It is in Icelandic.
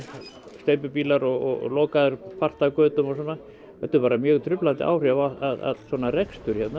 steypubílar og lokaðir partar af götum og svona þetta hefur bara mjög truflandi áhrif á allan svona rekstur hérna